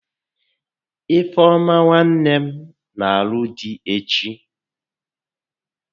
Ifeọma nwanne nne m n'alụ di echi